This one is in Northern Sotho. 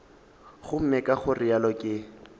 gomme ka go realo ke